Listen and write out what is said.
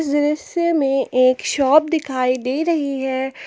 दृश्य में एक शॉप दिखाई दे रही है।